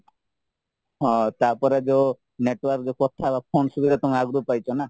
ହଁ ତାପରେ ଯୋଉ network କଥା ହେବ ଫୋନ ସୁବିଧା ତମେ ଆଗରୁ ପାଇଛନା